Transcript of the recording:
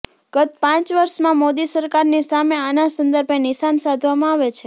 ગત પાચં વર્ષમાં મોદી સરકારની સામે આના સંદર્ભે નિશાન સાધવામાં આવે છે